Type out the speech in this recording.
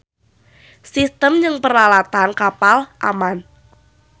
Sistem jeung peralatan kapal aman.